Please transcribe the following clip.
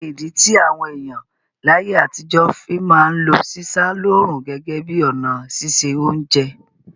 Kíni ìdí ti àwon èyàn láyé àtijọ́ fi ma n lo sísá lóòrùn gẹ́gẹ́ bi ọ̀nà sise ounje